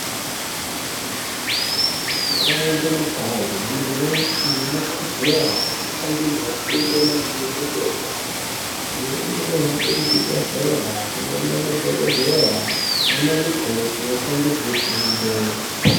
Mukawo nge mukawo muntu weshe ano kodzera eku pangidzwa fundo maringe nge zve utano amweni ano hambe ku zvibhedhlera kunoona madhokodheya nana mukoti opangidzwe fundo.